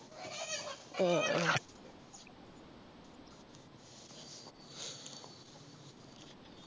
ആഹ്